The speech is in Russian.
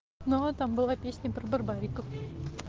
но там была песня про барбариков